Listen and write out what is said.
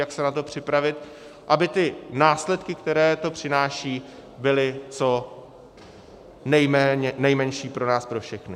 Jak se na to připravit, aby ty následky, které to přináší, byly co nejmenší pro nás pro všechny.